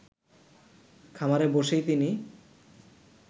খামারে বসেই তিনি